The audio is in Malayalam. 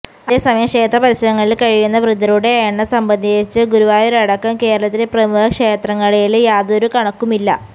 അതേസമയം ക്ഷേത്രപരിസരങ്ങളില് കഴിയുന്ന വൃദ്ധരുടെ എണ്ണം സംബന്ധിച്ച് ഗുരുവായൂരടക്കം കേരളത്തിലെ പ്രമുഖ ക്ഷേത്രങ്ങളില് യാതൊരു കണക്കുമില്ല